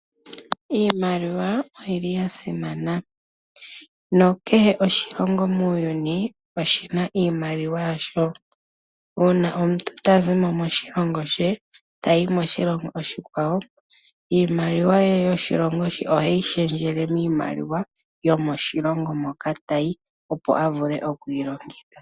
Iimaliwa oyil li ya simana na kehe moshilingo oshi na iimaliwa yasho. Uuna omuntu ta zi mo moshilingo she tayi moshilingo oshikwawo iimaliwa ye yoshilongo she oheyi shendjele miimaliwa yomoshilongo moka tayi opo a vule oku yi longitha.